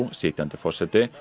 sitjandi forseti